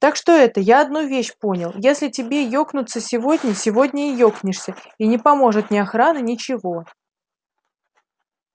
так что это я одну вещь понял если тебе екнуться сегодня сегодня и екнешься и не поможет ни охрана ничего